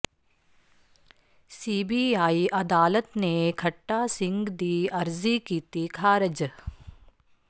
CBI ਅਦਾਲਤ ਨੇ ਖੱਟਾ ਸਿੰਘ ਦੀ ਅਰਜ਼ੀ ਕੀਤੀ ਖਾਰਜ